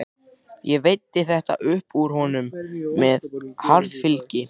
Ég veiddi þetta upp úr honum með harðfylgi.